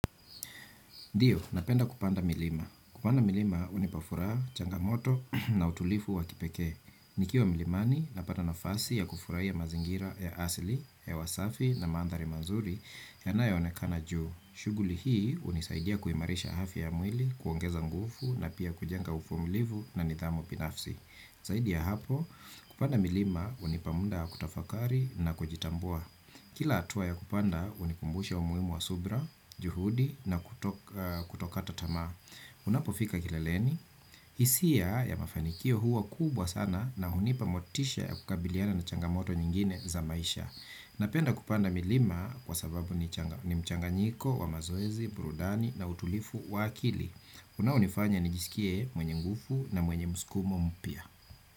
Ndiyo, napenda kupanda milima. Kupanda milima, hunipafuraha changamoto na utulivu wa kipekee. Nikiwa mlimani, napata nafasi ya kufurahia ya mazingira ya asili, ya wasafi na mandhari mazuri yanayoonekana juu. Shughuli hii, hunisaidia kuimarisha afya ya mwili, kuongeza nguvu na pia kujenga uvumilivu na nidhamu binafsi. Zaidi ya hapo, kupanda milima, hunipa muda wa kutafakari na kujitambua. Kila hatua ya kupanda hunikumbusha umuhimu wa subra, juhudi na kutokata tamaa. Unapofika kileleni? Hisia ya mafanikio huwa kubwa sana na hunipa motisha ya kukabiliana na changamoto nyingine za maisha. Napenda kupanda milima kwa sababu ni mchanganyiko wa mazoezi, burudani na utulivu wa akili. Unaonifanya nijisikie mwenye nguvu na mwenye msukumo mpya.